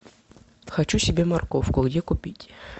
хочу себе морковку где купить